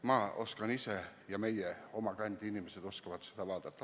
Ma oskan ise ja teised meie kandi inimesed oskavad selle järele vaadata.